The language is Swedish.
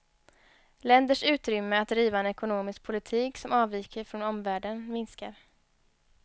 Länders utrymme att driva en ekonomisk politik som avviker från omvärlden minskar.